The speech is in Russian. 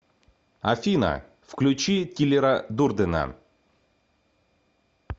афина включи тилера дурдена